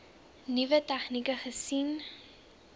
nuwe tegnieke gesien